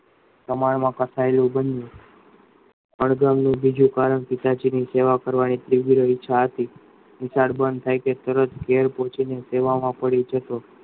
કમાવા માં કસાય એ વાંધો નહી ને બહુ બીજું કારણ કે સેવા કરવાની તીવ્ર ઈચ્છા હતી નિશાળ બંદ થાય કે તેવોજ ઘેર પહુચી ને સેવા માં પડી જતો